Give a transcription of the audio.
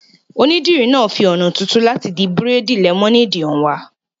Onídìrí náà fi ọ̀nà tuntun láti di bírèèdì lẹ́mọ́néèdì hàn wá